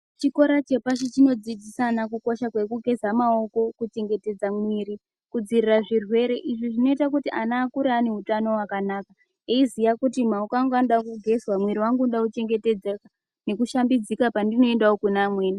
Chikora chepashi chinodzidzisa ana kukosha kwekugeza maoko kuchengetedza muviri kudzirira zvirwere. Zvinoita kuti ana akure ane utano hwakanaka eiziya kuti maoko angu anodakugezwa mwiri vangu unoda kuchengetedzeka, nekushambidzika pandinoendavo kune amweni.